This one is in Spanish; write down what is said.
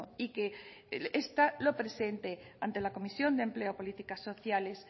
y que esta lo presente ante la comisión de empleo políticas sociales